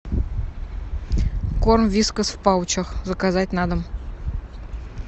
корм вискас в паучах заказать на дом